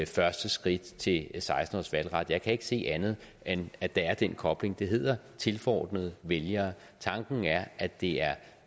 første skridt til seksten års valgret jeg kan ikke se andet end at der er den kobling det hedder tilforordnede vælgere tanken er at det er